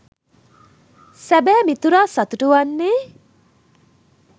සැබෑ මිතුරා සතුටු වන්නේ